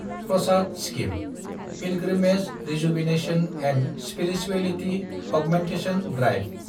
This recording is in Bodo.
Prasad scheme – pilgrimage rejuvenation and spirituality augmentation drive